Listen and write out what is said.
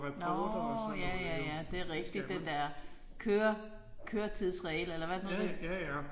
Nåh ja ja ja det er rigtigt. Det der køre køretidsregler eller hvad er det nu det